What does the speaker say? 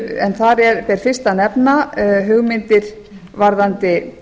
en þar ber fyrst að nefna hugmyndir varðandi